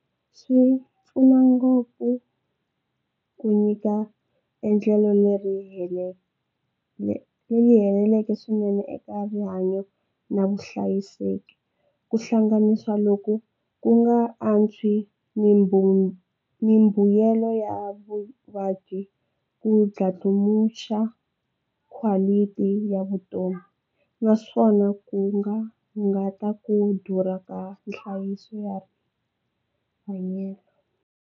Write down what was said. Swi pfuna ngopfu ku nyika endlelo leri leri heleleke swinene eka rihanyo na vuhlayiseki ku hlanganisa loku ku nga antswi mbuyelo ya vuvabyi ku dlandlamuxa quality ya vutomi naswona ku va nga ta ku durha ka nhlayiso ya hanyelo.